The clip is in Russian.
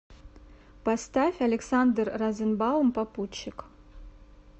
поставь александр розенбаум попутчик